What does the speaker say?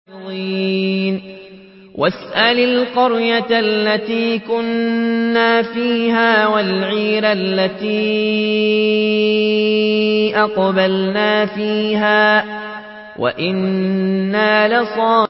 وَاسْأَلِ الْقَرْيَةَ الَّتِي كُنَّا فِيهَا وَالْعِيرَ الَّتِي أَقْبَلْنَا فِيهَا ۖ وَإِنَّا لَصَادِقُونَ